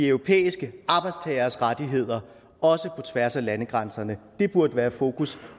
europæiske arbejdstageres rettigheder også på tværs af landegrænserne det burde være fokus